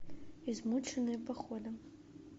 измученные походом